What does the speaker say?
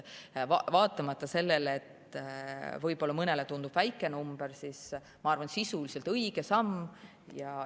Vaatamata sellele, et võib-olla mõnele tundub väike, ma arvan, et sisuliselt on see õige samm.